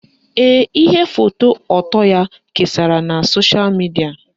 Ee, ihe foto ọtọ ya kesara na sosha midia